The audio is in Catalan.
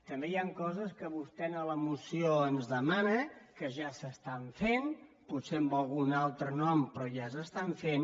també hi han coses que vostè en la moció ens demana que ja s’estan fent potser amb algun altre nom però ja s’estan fent